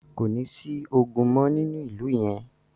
Kò ní sí ogun mọ́ nínú ìlú yẹn.